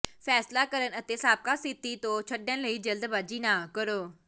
ਫ਼ੈਸਲਾ ਕਰਨ ਅਤੇ ਸਾਬਕਾ ਸਥਿਤੀ ਨੂੰ ਛੱਡਣ ਲਈ ਜਲਦਬਾਜ਼ੀ ਨਾ ਕਰੋ